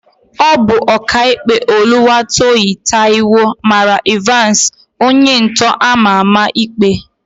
Ọ bụ Ọkaikpe Oluwatoyin Taiwo mara Ịvansị, onyentọ ama ama ikpe.